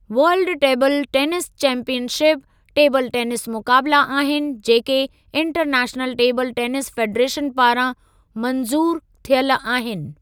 World table tennis championship, table tennis मुक़ाबिला आहिनि जेके इंटरनैशनल टेबल टेनिस फ़ेडरेशन पारां मंजूरु थियल आहिनि।